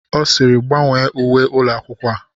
Ọ sịịrị, gbanwee uwe ụlọ akwụkwọ a!